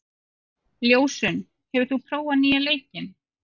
Ljósunn, hefur þú prófað nýja leikinn?